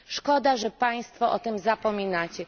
Szkoda, że Państwo o tym zapominacie.